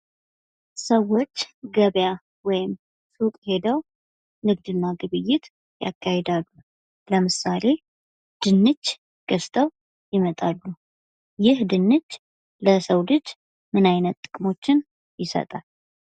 ሰዎች ገበያ ወይም ሱቅ ሄደው ንግድ እና ግብይት ያካሄዳሉ። ለምሳሌ ድንች ገዝተው ይመጣሉ። ይህ ድንች ለሰው ልጅ ምን አይነት ጥቅሞችን ይሰጣል?